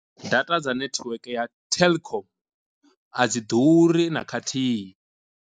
Data dza network ya telkom a dzi ḓuri na khathihi.